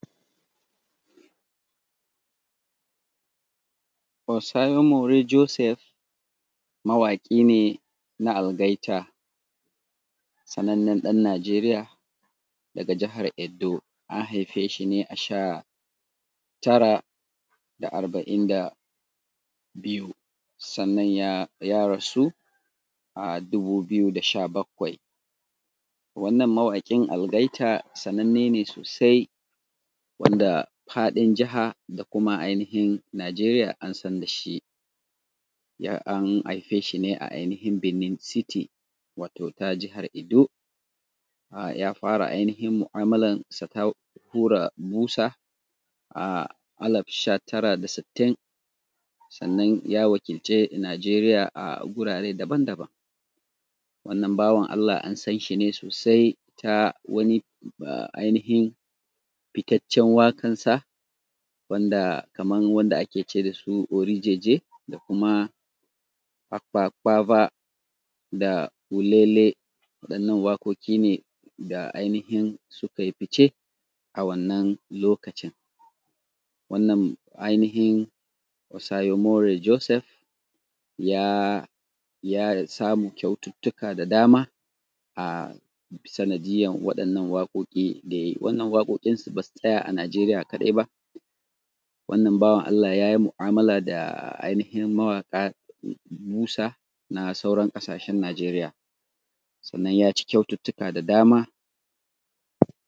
Kosayemore Josef mawaƙi ne na algaita, sananan ɗan Nijeriya daga Jahar Edo, an haife shi ne a sha tara da arbain da biyu sann an ya rasu a dubu biyu da sha bakwai, wannan mawaƙin algaita sananne ne sosai wanda faɗin Jaha da kuma ainihin Nigeriya an san da shi an haife shi ne a ainihin Benin city wato ta jahar Edo ya fara ainihin mu’amalarsa ta hura busa a alab sha tara da sitin sannan ya wakilce Nigeriya a gurare daban-daban wannan bawan Allah an san shi sosai ta wani ainihin fitacen waƙar sa wanda kaman wanda ake ce da su ori jeje da kuma akwakwava da olele waɗannan waƙoƙi ne da ainihin sukai fice a wannan lokacin wannan ainihin Kosayemore Josef ya samu ƙyaututtuka da dama a sanadiyar waɗannan waƙoƙin sa da ya yi wannan waƙoƙin basu tsaya a nigeriya kaɗai ba wannan bawan allah yay i mu’amala da ainihin mawaƙan busa na sauran ƙasashen nijeriya sannan ya ci ƙyaututtuka da dama.